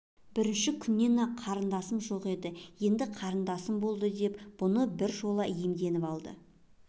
бірінші күннен-ақ қарындасым жоқ еді енді қарындасым болады деп бұны бір жолата иемденіп алды